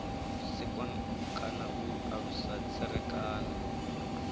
sikwa kana u alusa tserekano